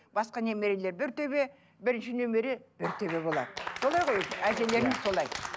басқа немерелер бір төбе бірінші немере бір төбе болады солай ғой әжелерің солай